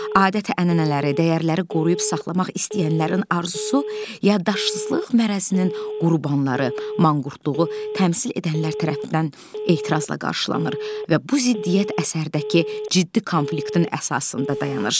Adət-ənənələri, dəyərləri qoruyub saxlamaq istəyənlərin arzusu yaddaşsızlıq mərəzinin qurbanları, manqurtluğu təmsil edənlər tərəfindən etirazla qarşılanır və bu ziddiyyət əsərdəki ciddi konfliktin əsasında dayanır.